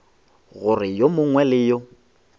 gore yo mongwe le yo